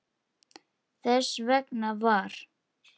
Þess vegna var